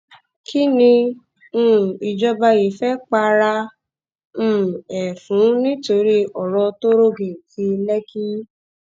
kín ni um ìjọba yìí fẹ́ para um ẹ fún nítorí ọrọ tóró geètì lẹ́kí